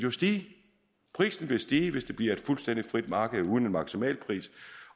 vil stige hvis det bliver et fuldstændig frit marked uden en maksimalpris